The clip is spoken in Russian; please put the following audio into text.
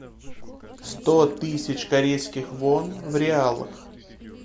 сто тысяч корейских вон в реалах